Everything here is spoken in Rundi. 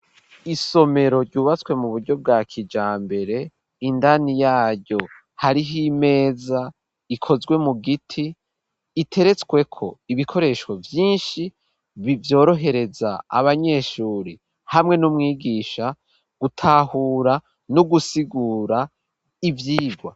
Isomero ryubatswe mu buryo bwa kijambere indani yaryo hariho imeza ikozwe mu giti iteretswe ko ibikoresho vyinshi bivyorohereza abanyeshuri hamwe n'umwigisha gutahura no gusigura ivyigwa.